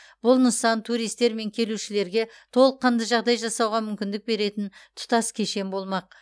бұл нысан туристер мен келушілерге толыққанды жағдай жасауға мүмкіндік беретін тұтас кешен болмақ